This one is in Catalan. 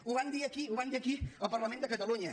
ho van dir aquí ho van dir aquí al parlament de catalunya